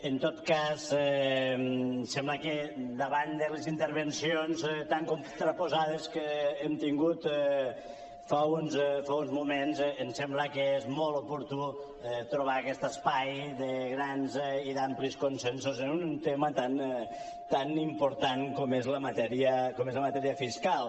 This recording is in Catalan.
en tot cas sembla que davant de les intervencions tan contraposades que hem tingut fa uns moments em sembla que és molt oportú trobar aquest espai de grans i d’amplis consensos en un tema tan important com és la matèria fiscal